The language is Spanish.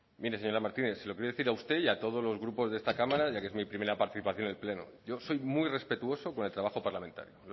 mire señora martínez se lo voy a decir a usted y todos los grupos de esta cámara ya que es mi primera participación en el pleno yo soy muy respetuoso con el trabajo parlamentario